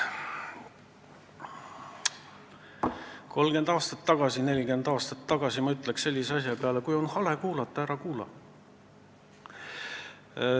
30 või 40 aastat tagasi ma oleks öelnud sellise asja peale, et kui on hale kuulata, ära kuula.